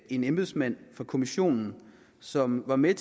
en embedsmand fra kommissionen som var med